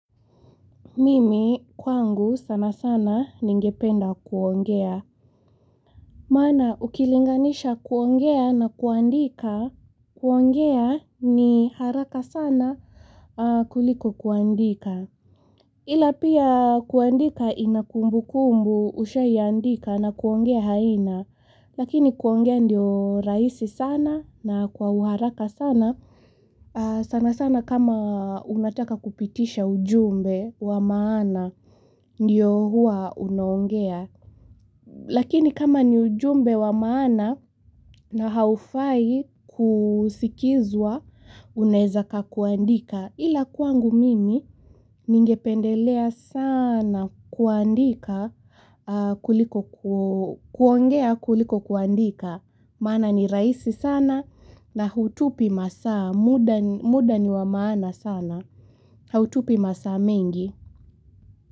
Mimi kwangu sana sana ningependa kuongea Mana ukilinganisha kuongea na kuandika kuongea ni haraka sana kuliko kuandika Ilapia kuandika inakumbu kumbu usha yandika na kuongea haina lakini kuongea ndio raisi sana na kwa uharaka sana sana sana kama unataka kupitisha ujumbe wa maana Ndiyo hua unoongea. Lakini kama ni ujumbe wa maana na haufai kusikizwa uneza ka kuandika. Ila kwangu mimi ningependelea sana kuandika kuliko kuongea kuliko kuandika. Maana ni raisi sana na hutupi masaa muda. Muda ni wa maana sana. Hautupi masa mengi.